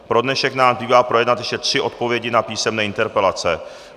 Pro dnešek nám zbývá projednat ještě tři odpovědi na písemné interpelace.